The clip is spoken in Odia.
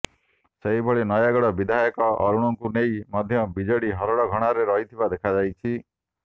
ସେହିଭଳି ନୟାଗଡ଼ ବିଧାୟକ ଅରୁଣଙ୍କୁ ନେଇ ମଧ୍ୟ ବିଜେଡି ହରଡ଼ଘଣାରେ ରହିଥିବା ଦେଖାଯାଇଛି